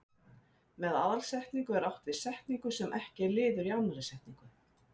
Með aðalsetningu er átt við setningu sem ekki er liður í annarri setningu.